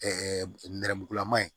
nɛrɛmugulama ye